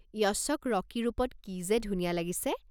য়শক ৰকী ৰূপত কি যে ধুনীয়া লাগিছে।